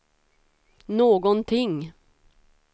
någonting